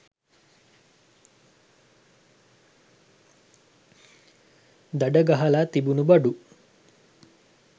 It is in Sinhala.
දඩ ගහල තිබුණු බඩු